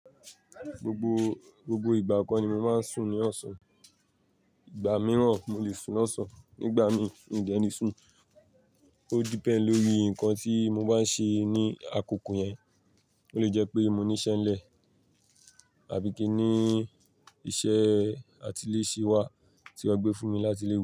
Gbogbo, gbogbo ìgbà kan ni mo máa ń sùn ní ọ̀sán. Ìgbà mìíràn mo lè sùn lọ́sàn-án, nígbà miì mi de ni sùn, ó depend lórí nǹkan tí mo bá n ṣe ní àkókò yẹn, ó lè jẹ́ pé mo ní iṣẹ́ ńlẹ̀ àbí kí í ní iṣẹ́ atilẹ́ṣẹ́ wà tí a gbé fún mi láti iléwe.